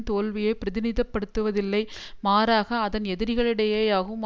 தோல்வியை பிரதிநிதித்துவப்படுத்தவில்லை மாறாக அதன் எதிரிடைகளையேயாகும்